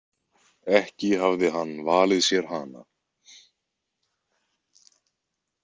Ekki hafði hann valið sér hana.